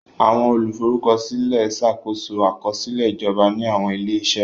Àwọn olùforúkọsílẹ̀ ń ṣàkóso àkọsílẹ̀ ìjọba ní àwọn ilé-iṣẹ́.